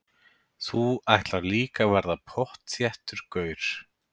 Þú ætlar líka að verða pottþéttur gaur.